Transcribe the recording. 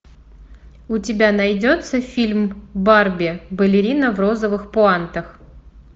у тебя найдется фильм барби балерина в розовых пуантах